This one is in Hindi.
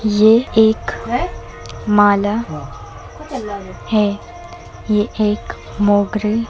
ये एक माला हैं। ये एक मोगरी --